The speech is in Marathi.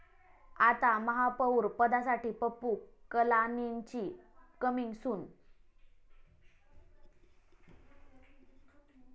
आता महापौरपदासाठी पप्पू कलानींची कमिंग 'सून'!